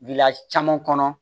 Gɛlɛya caman kɔnɔ